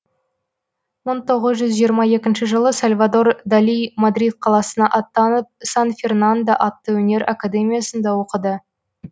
мың тоғыз жүз жиырма екінші жылы сальвадор дали мадрид қаласына аттанып сан фернандо атты өнер академиясында оқиды